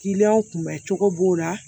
Kiliyanw kun bɛ cogo b'o la